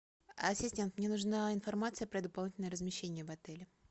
ассистент мне нужна информация про дополнительное размещение в отеле